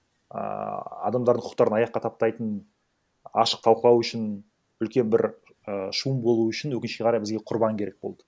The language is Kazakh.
ааа адамдардың құқықтарын аяққа таптайтын ашық талқылау үшін үлкен бір ііі шум болу үшін өкінішке қарай бізге құрбан керек болды